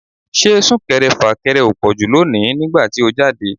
Ṣé Sún-kẹrẹ-fà-kẹrẹ ò pọ̀jù lónìí nígbà tí ó jáde?